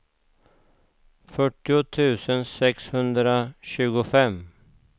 fyrtio tusen sexhundratjugofem